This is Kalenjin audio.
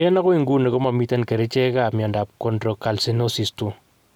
En agoi nguni komamamiten kerichek ap miondap chondrocalcinosis 2.